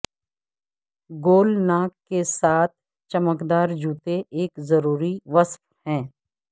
گول ناک کے ساتھ چمکدار جوتے ایک ضروری وصف ہیں